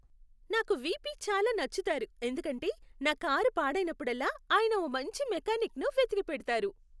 నాకు వీపీ చాలా నచ్చుతారు ఎందుకంటే, నా కారు పాడైనప్పుడల్లా ఆయన ఓ మంచి మెకానిక్ను వెతికిపెడతారు.